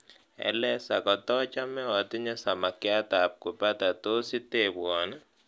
aleza kotochome otinye samakiat ab kupata tos itebwoni